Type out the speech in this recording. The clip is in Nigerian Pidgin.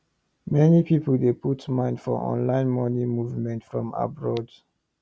many people dey put mind for online money movement from abroad